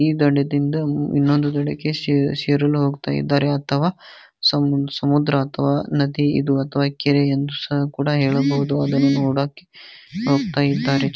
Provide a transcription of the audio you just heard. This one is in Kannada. ಈ ದಡದಿಂದ ಇನ್ನೊಂದು ದಡಕ್ಕೆ ಸೇರಲು ಹೋಗ್ತಾ ಇದ್ದಾರೆ ಅಥವಾ ಸಮುದ್ರ ಅಥವಾ ನದಿಇದು ಅಥವಾ ಕೆರೆ ಎಂದು ಸಹ ಕೂಡ ಹೇಳಬಹುದು ಅದು ನೋಡೋಕೆ ಹೋಗ್ತಾ ಇದ್ದಾರೆ .